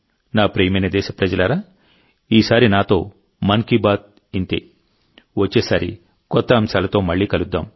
నా ప్రియమైన దేశప్రజలారాఈసారి నాతో మన్ కీ బాత్ ఇంతే వచ్చేసారి కొత్త అంశాలతో మళ్ళీ కలుద్దాం